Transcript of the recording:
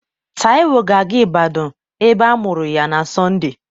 Taiwo ga-aga Ibadanụ ebe a mụrụ ya na Sonde.